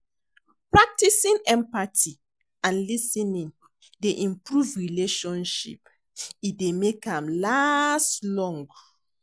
Practicing empathy and lis ten ing dey improve relationship, e dey make am last long.